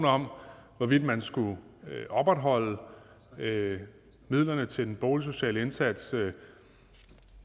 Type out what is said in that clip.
om hvorvidt man skulle opretholde midlerne til den boligsociale indsats